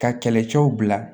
Ka kɛlɛcɛw bila